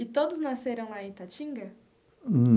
E todos nasceram lá em Itatinga?